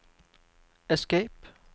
escape